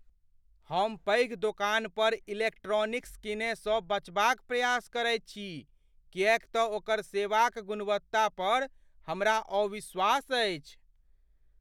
हम पैघ दोकान पर इलेक्ट्रानिक्स कीनय सँ बचबाक प्रयास करैत छी किएक तँ ओकर सेवा क गुणवत्ता पर हमरा अविश्वास अछि।